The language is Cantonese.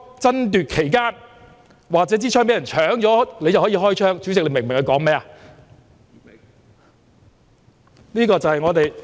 爭奪期間或者槍已被搶走，便可以開槍，主席，你明白他說甚麼嗎？